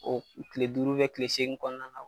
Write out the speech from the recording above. O Kile duuru kile segine kɔnɔna na